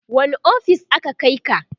wani ofis aka Kai ka?